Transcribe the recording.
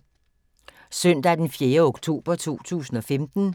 Søndag d. 4. oktober 2015